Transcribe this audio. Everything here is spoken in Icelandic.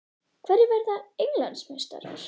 Hverjir verða Englandsmeistarar?